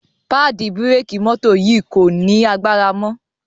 paadi bírékì mọ́tò yì kò ní agbára mọ.